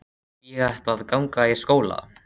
Ég ætla að ganga í skóla.